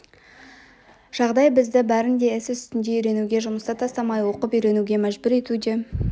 жағдай бізді бәрін де іс үстінде үйренуге жұмысты тастамай оқып-үйренуге мәжбүр етуде